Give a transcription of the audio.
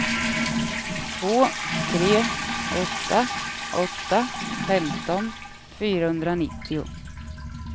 två tre åtta åtta femton fyrahundranittio